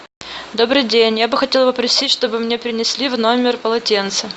добрый день я бы хотела попросить чтобы мне принесли в номер полотенце